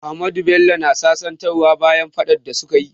Ahmadu da Bello na sasantawa bayan faɗan da su ka yi.